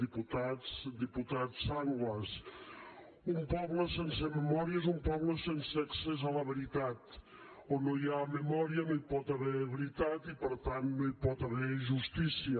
diputats diputat sanglas un poble sense memòria és un poble sense accés a la veritat on no hi ha memòria no hi pot haver veritat i per tant no hi pot haver justícia